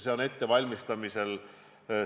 Seda valmistatakse ette.